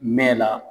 Mɛ la